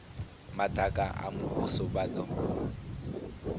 madaka a muvhuso vha do